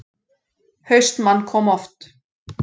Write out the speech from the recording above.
HAustmann kom oft.